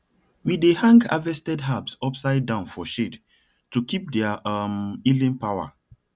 we dey hang harvested herbs upside down for shade to keep their um healing power